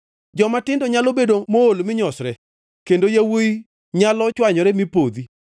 Jomatindo nyalo bedo mool mi nyosre, kendo yawuowi nyalo chwanyore mi podhi,